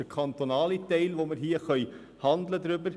Das ist der kantonale Teil, über den wir hier handeln können: